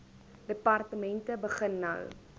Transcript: departemente begin nou